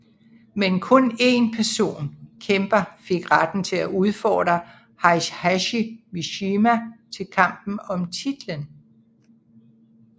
Men kun én ensom kæmper fik retten til at udfordre Heihachi Mishima til kampen om titlen